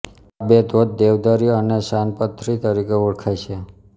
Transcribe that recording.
આ બે ધોધ દેવદરી અને છાનપથર તરીકે ઓળખાય છે